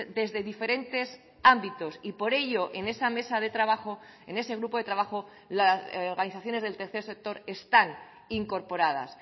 desde diferentes ámbitos y por ello en esa mesa de trabajo en ese grupo de trabajo las organizaciones del tercer sector están incorporadas